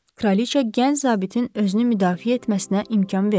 Kraliçə gənc zabitin özünü müdafiə etməsinə imkan vermirdi.